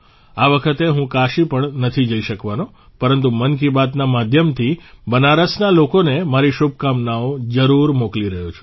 આ વખતે હું કાશી પણ નથી જઇ શકવાનો પરંતુ મન કી બાતના માધ્યમથી બનારસના લોકોને મારી શુભકામનાઓ જરૂર મોકલી રહ્યો છું